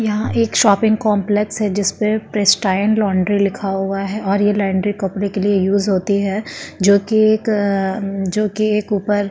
यहाँ एक shopping complex है जिस पे प्रेस्टाइल लोंडरी लिखा हुआ है और यह लोंडरी कपडे के लिए यूज़ होती है जो की एक अ जो की एक ऊपर --